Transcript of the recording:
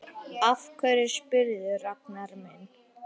Af hverju spyrðu, Ragnar minn?